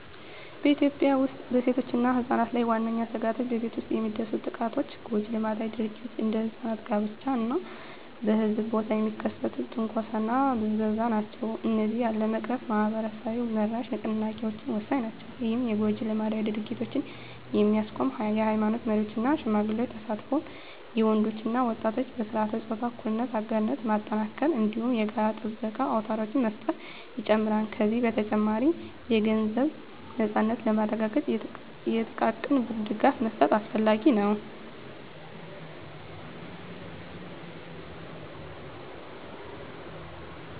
በኢትዮጵያ ውስጥ በሴቶችና ሕጻናት ላይ ዋነኛ ስጋቶች በቤት ውስጥ የሚደርሱ ጥቃቶች፣ ጎጂ ልማዳዊ ድርጊቶች (እንደ ሕጻናት ጋብቻ) እና በሕዝብ ቦታ የሚከሰት ትንኮሳና ብዝበዛ ናቸው። እነዚህን ለመቅረፍ ማኅበረሰብ-መራሽ ንቅናቄዎች ወሳኝ ናቸው። ይህም የጎጂ ልማዳዊ ድርጊቶችን የሚያስቆም የኃይማኖት መሪዎች እና ሽማግሌዎች ተሳትፎን፣ የወንዶች እና ወጣቶች በሥርዓተ-ፆታ እኩልነት አጋርነት ማጠናከርን፣ እንዲሁም የጋራ ጥበቃ አውታሮችን መፍጠርን ይጨምራል። ከዚህ በተጨማሪ፣ የገንዘብ ነፃነትን ለማረጋገጥ የጥቃቅን ብድር ድጋፍ መስጠት አስፈላጊ ነው።